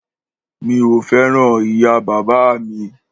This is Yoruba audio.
Mi ò fẹ́ràn ìyá bàbá à mi.